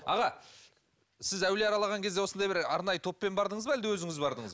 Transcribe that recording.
аға сіз әулие аралаған кезде осындай бір арнайы топпен бардыңыз ба әлде өзіңіз бардыңыз